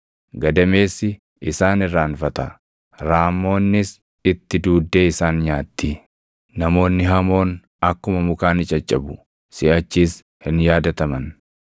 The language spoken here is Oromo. Gadameessi isaan irraanfata; raammoonnis itti duuddee isaan nyaatti; namoonni hamoon akkuma mukaa ni caccabu; siʼachis hin yaadataman.